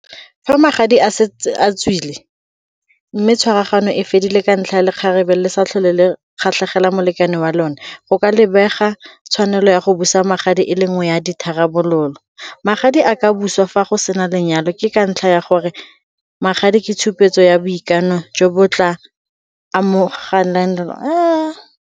Fa magadi a setse a tswile mme tshwaragano e fedile ka ntlha ya le kgarebe le sa tlhole le kgatlhegela molekane wa lone, go ka lebega tshwanelo ya go busa magadi e le nngwe ya ditharabololo. Magadi a ka busiwa fa go sena lenyalo ke ka ntlha ya gore magadi ke tshupetso ya boikano jo bo tla .